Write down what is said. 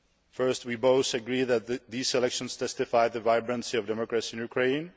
firstly, we both agreed that these elections testified the vibrancy of democracy in Ukraine